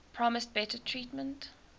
promised better treatment